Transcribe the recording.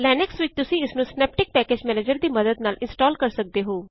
Linux ਵਿੱਚ ਤੁਸੀਂ ਇਸ ਨੂੰ ਸਿਨੈਪਟਿਕ ਪੈਕੇਜ ਮੈਨੇਜਰ ਦੀ ਮਦਦ ਨਾਲ ਇਂਸਟਾਲ਼ ਕਰ ਸਕਦੇ ਹੋ